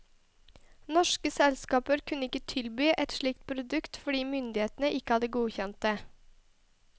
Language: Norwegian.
Norske selskaper kunne ikke tilby et slikt produkt fordi myndighetene ikke hadde godkjent det.